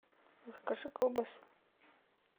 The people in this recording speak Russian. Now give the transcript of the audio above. закажи колбасу